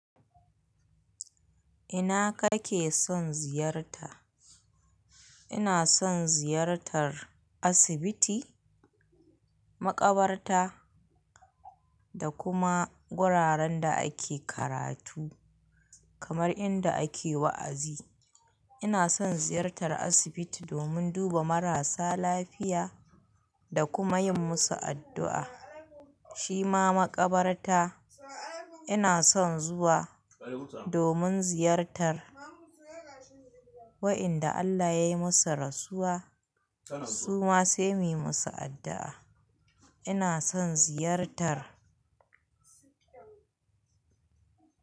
Ina kake son ziyarta? Ina son ziyartar asibiti, maƙabarta, da kuma gquraren da ake karatu, kamar inda ake wa'azi. Ina son ziyartar asibiti domin duba marasa lafiya, da kuma yin musu addu'a. Shima maƙabarta, ina son zuwa domin ziyartar wa'inda Allah ya yi musu rasuwa, su ma sai muyi musu addu'a. Ina son ziyartar,